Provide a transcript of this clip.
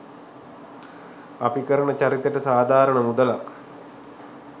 අපි කරන චරිතෙට සාධාරණ මුදලක්